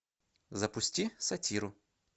запусти сатиру